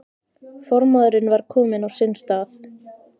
Formaðurinn var kominn á sinn stað.